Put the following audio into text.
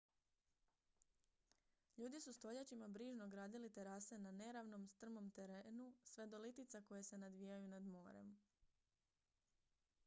ljudi su stoljećima brižno gradili terase na neravnom strmom terenu sve do litica koje se nadvijaju nad morem